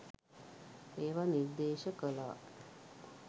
ඒව නිර්දේශ කලා.